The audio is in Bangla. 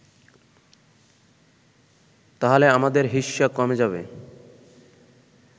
তাহলে আমাদের হিস্যা কমে যাবে